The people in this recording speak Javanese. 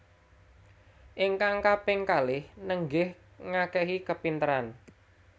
Ingkang kaping kalih nenggih ngakehi kapinteran